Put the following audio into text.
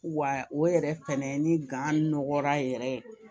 Wa o yɛrɛ fɛnɛ ni gan nɔgɔra yɛrɛ ye